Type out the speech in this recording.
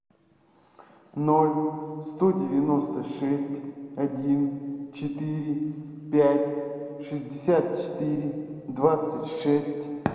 ноль сто девяносто шесть один четыре пять шестьдесят четыре двадцать шесть